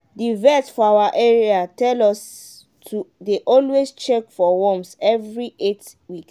the vet for our area tell us to dey always check for worms every eight weeks.